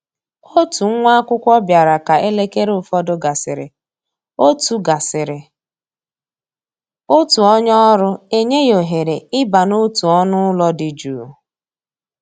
Òtù nwá ákwụ́kwọ́ bịara ka élékéré ụfọdụ gàsị́rị̀, òtù gàsị́rị̀, òtù ónyé ọ́rụ́ enyè yá òhéré ì bà n'òtù ọ́nụ́ ụ́lọ́ dị jụ́ụ́.